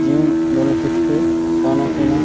जिवम नल किथके खाना पीना --